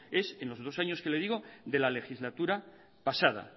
es en los dos años que le digo de la legislatura pasada